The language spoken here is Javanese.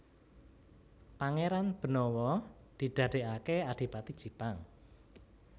Pangéran Benawa didadèkaké Adipati Jipang